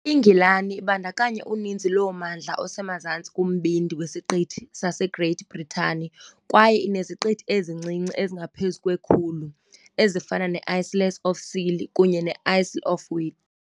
INgilani ibandakanya uninzi lommandla osemazantsi kumbindi wesiqithi saseGreat Britain kwaye ineziqithi ezincinci ezingaphezu kwe-100, ezifana ne- Isles of Scilly kunye ne- Isle of Wight .